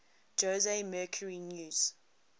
jose mercury news